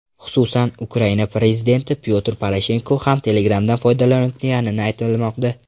Xususan, Ukraina prezidenti Pyotr Poroshenko ham Telegram’dan foydalanayotgani aytilmoqda.